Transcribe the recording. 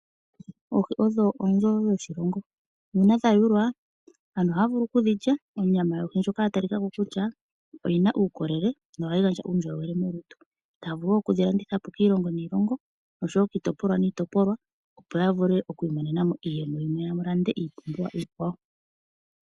Oohi odho onzoo dhoshilongo. Nu una dha yulwa onyama yawo ndjoka ya tali kako kutya oyina uukolele no hayi gandja uundjolowele molutu. Taa vulu wo okudhi landitha po kiilongo niilongo. Oshowo kiitopolwa niitopolwa . Opo ya vule oku imonena mo iiyemo ya lande iipumbiwa iikwawo.